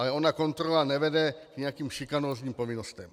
Ale ona kontrola nevede k nějakým šikanózním povinnostem.